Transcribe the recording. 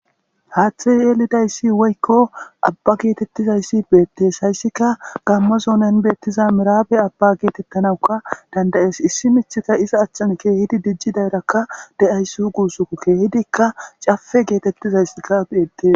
haaththe yeelidayssi woykko abba geetettizayssi beettees hayssika gammazonen beettiza miraabe abba geetettanawuka dandayees issi michika iza achchan keehidi dijji dayrakka de7ayss guusuku keehidikka cafe geetettizayssikka beettes